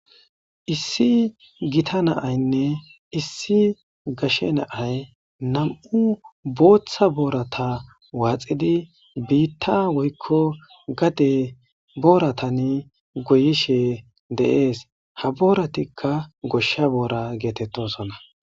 Issi gita naaynne issi gashe naay nam'u booththa boorata waaxidi biitta woykko gade booratan goyishe deees ha booratikka goshsha boora geetettosona.